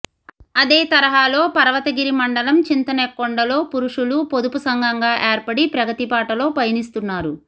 అదే తరహాలో పర్వతగిరి మండలం చింతనెక్కొండలో పురుషులు పొదుపు సంఘంగా ఏర్పడి ప్రగతిబాటలో పయనిస్తున్నారు